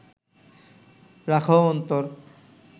রাখহ অন্তর